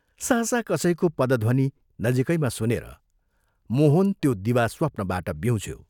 सहसा कसैको पदध्वनि नजीकैमा सुनेर मोहन त्यो दिवास्वप्नबाट ब्यूँझ्यो।